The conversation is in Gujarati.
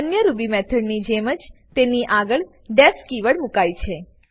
અન્ય રૂબી મેથડની જેમ જ તેની આગળ ડીઇએફ કીવર્ડ મુકાય છે